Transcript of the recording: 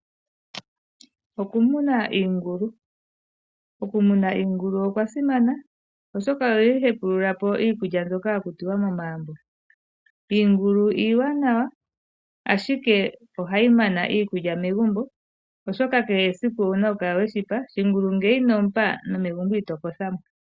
Okumuna iingulu, okumuna iingulu okwa simana oshoka ohayi hepulula po iikulya mbyoka ya kutwa momagumbo. Iingulu iiwanawa ashike ohayi mana iikulya megumbo oshoka kehe esiku owuna okukala weshipa, shingulu ngele ino mupa nomegumbo Ito kothamo.